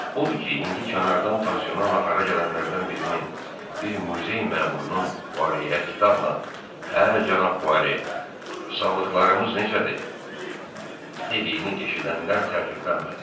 Odur ki, indi kənardan pansiona nahara gələnlərdən birinin, bir muzey məmurunun Fuareyə xitablan, “Hə, cənab Fuare, sağlıqlarımız necədir?” dediyini eşidənlər təəccüblənmədilər.